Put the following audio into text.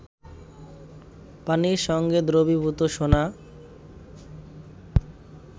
পানির সঙ্গে দ্রবীভূত সোনা